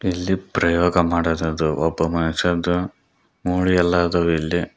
ಇಲ್ಲಿ ಪ್ರಯೋಗ ಮಾಡಿರುವುದು ಒಬ್ಬ ಮನುಷ್ಯನ್ದು ಮೂಳೆ ಎಲ್ಲಾದ್ರೂ ಇಲ್ಲಿ--